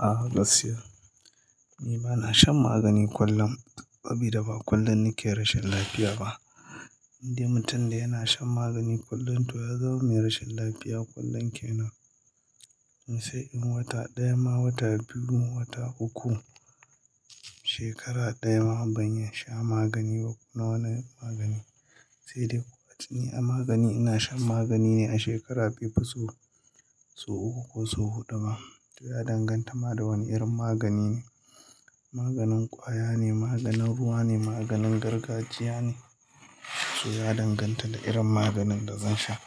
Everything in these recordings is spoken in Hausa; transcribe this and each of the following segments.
A gaskiya, ni bana shan magani kullum saboda ba kullum nake rashin lafiya ba. Indai mutum yana shan magani kullum yazama mai rashin lafiya kullum kenan sai inyi wata ɗaya ma, wata biyu, wata uku, shekara ɗaya ma ban iya sha magani ba, kowane magani. Sai dai kuwa a tsine magani ina shan magani ne a shekara bai fi, sau uku ko su huɗu ba. To ya danganta ma da wane irin magani ne. Maganin ƙwaya ne, maganin ruwa ne, maganin gargajiya ne, to ya danganta da irin maganin da zan sha.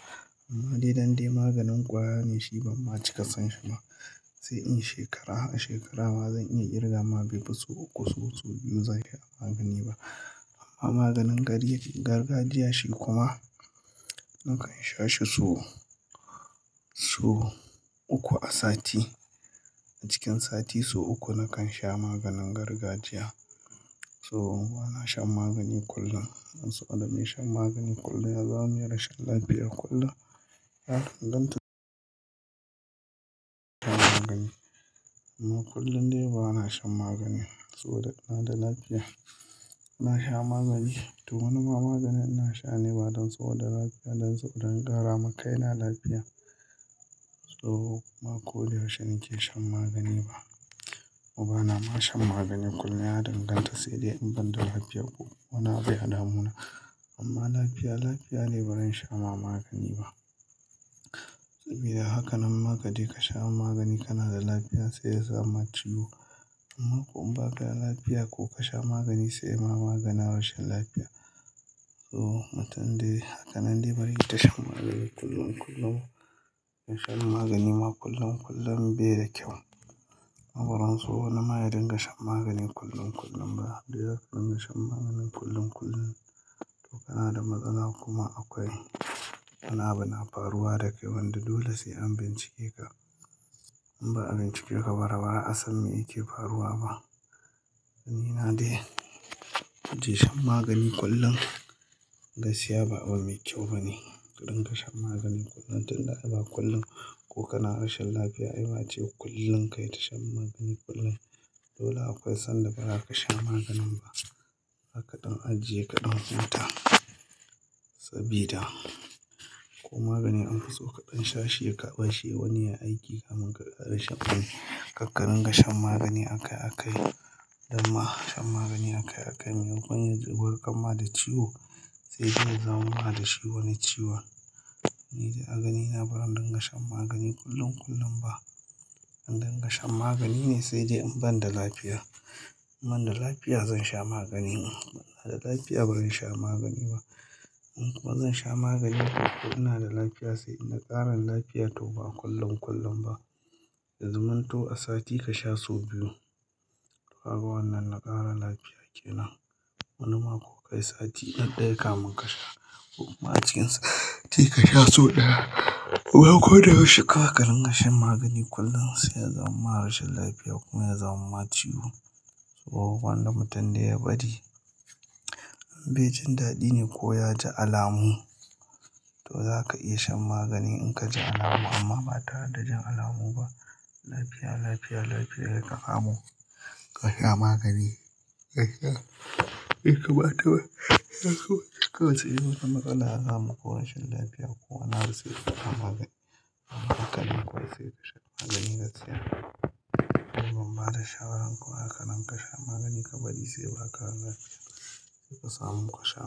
Amma dai dande maganin ƙwaya ne shi ban ma cika son shi ba. Sai in shekara, a shekara ma zan iya kirga ma bai fi sau uku sau, sau biyu zan sha magani ba. Amma maganin gargajiya shi kuma nakan sha shi sau uku a sati. A cikin sati su uku nakan sha maganin gargajiya. So ban shan magani kullum, dan saboda me shan magani kullum ya zama mai rashin lafiya kullum. Ya danganta magani. Amma kullum dai ba na shan magani ba. Saboda ina da lafiya ina sha magani. To wani ma magani ina sha ne ba don saboda lafiya, don saboda inaƙara makaina lafiya. To kuma koda yaushe nake shan magani ba. Ko bana ma shan magani kullum, ya danganta sai dai in ban da lafiya ko. Wana abuya damuna. Amma lafiya lafiya dai bazan sha maka magani bah sabida haka nan ma kaje ka sha magani kana da lafiya sai ya zama ciwo. Amma kuma in ba ka da lafiya ko ka sha magani sai ma magana rashin lafiya. So matan dai, haka nan dai bari ita shan magani kullum kullum. In sha magani ma kullum kullum bai da kyau. Abaran so wani ma ya dinga shan magani kullum kullum ba. Dan dai dinga shan magani kullum kullum to kana da matsala kuma akwai. Wani abu na faruwa da kai wanda dole sai an bincike ka. In ba a bincike ka bara, ba a san me yake faruwa ba. Ni ma dai, ace shan magani kullum, gaskiya ba abu mai kyau bane. Ka dinga shan magani kullum, tun da akai ba kullum ko kana rashin lafiya ai ba ce kullum kai tasha magani kullum. Dole akwai sanda ba za ka sha maganin ba. Kadan ajiye kadan. Huta sabida ko magani an fi so kaɗan sha shi ya ƙarbe wani ya aiki kamin ka ƙara shan. Kakkarin ka Dama shan magani akaiyiakaii. Munyi gwanin gurgama da ciwo. Sai dai za mu ba da shi wani ciwo. Ni dai agani na barin dinga shan magani kullum kullum ba. In dinga shan magani ne sai dai in ban da lafiya. In bana da lafiya zan sha magani. Inana da lafiya bazan sha magani ba. In kuma zan sha magani ko ina da lafiya sai inda ƙaran lafiya to ba kullum kullum ba. Ya zamunta a sati ka sha su biyu. To haka wannan na ƙara lafiya kenan. Wani ma ko ka yi sati ɗaya kamin ka sha. Ko kuma ace sai kasha sau daya bawai koda yaushe zaka dinga shan magani ba kullum kada yazaman ma ciwo. Bai jin dadi neh koyaji alamu to zaka iya shan magani inkaji alamu. Amman ba tare da jin alamu bah lafiya lafiya lafiya kasha magani. Bai kamata bah inyaso kawai sai in wata rashin lafiya ko matsala ko wani abu yafaru sai kasha to kuma ba da shawaran kuwa haka nan ka sha magani ka bari sai ba ka ga lafiya. Sai ka samu ka sha.